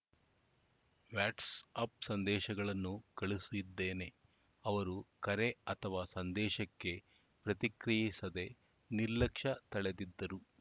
what's up ಸಂದೇಶಗಳನ್ನೂ ಕಳುಹಿಸಿದ್ದೇನೆ ಅವರು ಕರೆ ಅಥವಾ ಸಂದೇಶಕ್ಕೆ ಪ್ರತಿಕ್ರಿಯಿಸದೆ ನಿರ್ಲಕ್ಷ್ಯ ತಳೆದಿದ್ದರು